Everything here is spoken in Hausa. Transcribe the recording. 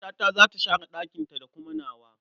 Matata za ta share ɗakinta da kuma nawa.